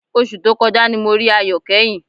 Oṣù tó kọjá ni mo rí Ayọ̀ kẹ́yìn